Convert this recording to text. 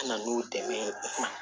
Na n'u dɛmɛ ye